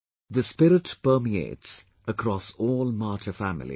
This spirit permeates across all martyr families